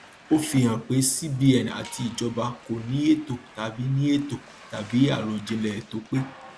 ó fi hàn pé cbn àti ìjọba kò ní ètò tàbí ní ètò tàbí àròjinlè tó pé